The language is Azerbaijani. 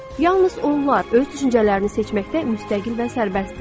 Yalnız onlar öz düşüncələrini seçməkdə müstəqil və sərbəstdirlər.